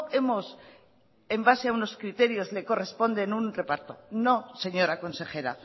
hemos en base a unos criterios le corresponden un reparto no señora consejera